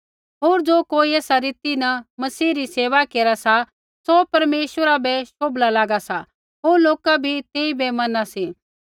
होर ज़ो कोई ऐसा रीति न मसीह री सेवा केरा सा सौ परमेश्वरा बै शोभला लागा सा होर लौका भी तेइबै मना सी